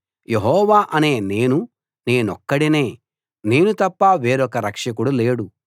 యెహోవా అనే నేను నేనొక్కడినే నేను తప్ప వేరొక రక్షకుడు లేడు